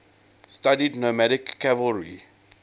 studied nomadic cavalry